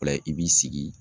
O la i b'i sigi